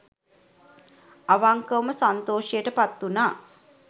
අවංකවම සන්තෝෂයට පත් වුනා.